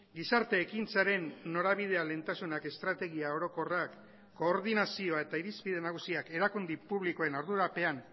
gizarte ekintzaren norabidea lehentasunak estrategia orokorrak koordinazioa eta irizpide nagusiak erakunde publikoen ardurapean